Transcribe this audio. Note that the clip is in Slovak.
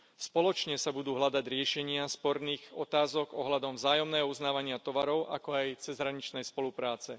Spoločne sa budú hľadať riešenia sporných otázok ohľadom vzájomného uznávania tovarov, ako aj cezhraničnej spolupráce.